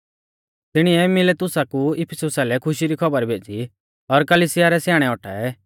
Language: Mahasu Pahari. तिणीऐ मिलेतुसा कु इफिसुसा लै खुशी री खौबर भेज़ी और कलिसिया रै स्याणै औटाऐ